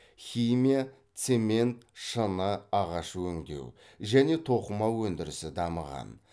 химия цемент шыны ағаш өңдеу және тоқыма өндірісі дамыған